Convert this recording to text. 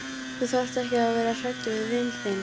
Þú þarft ekki að vera hræddur við vin þinn.